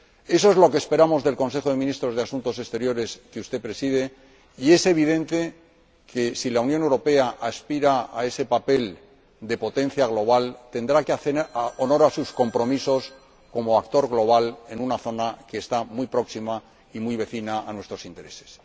Eso es lo que esperamos del Consejo de Ministros de Asuntos Exteriores que usted preside, y es evidente que, si la Unión Europea aspira a ese papel de potencia global, tendrá que hacer honor a sus compromisos como actor global en una zona que está muy próxima y es muy cercana a nuestros intereses.